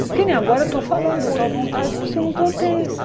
Que nem agora eu estou falando, eu estou à vontade porque eu não estou tensa.